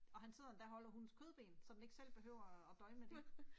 Og han sidder endda holder hundens kødben, så den ikke selv behøver og og døje med det